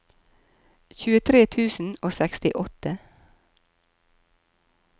tjuetre tusen og sekstiåtte